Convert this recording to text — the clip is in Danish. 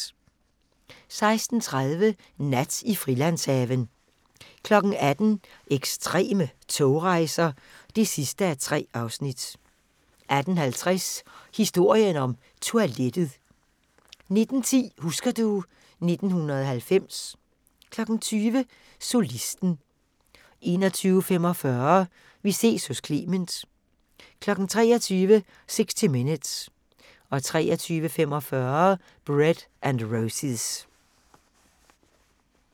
16:30: Nat i Frilandshaven 18:00: Ekstreme togrejser (3:3) 18:50: Historien om toilettet 19:10: Husker du ... 1990 20:00: Solisten 21:45: Vi ses hos Clement 23:00: 60 Minutes 23:45: Bread and Roses